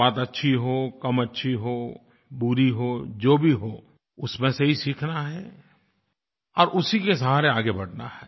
बात अच्छी हो कम अच्छी हो बुरी हो जो भी हो उसमें से ही सीखना है और उसी के सहारे आगे बढ़ना है